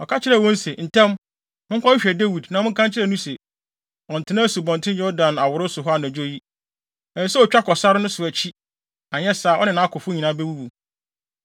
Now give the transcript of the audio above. Ɔka kyerɛɛ wɔn se, “Ntɛm! Monkɔhwehwɛ Dawid, na monka nkyerɛ no se, ɔnntena Asubɔnten Yordan aworoe so hɔ anadwo yi. Ɛsɛ sɛ otwa kɔ sare no so akyi, anyɛ saa a, ɔne nʼakofo nyinaa bewuwu.”